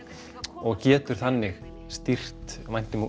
og getur þannig stýrt væntingum